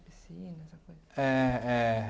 A piscina, essa coisa. É, é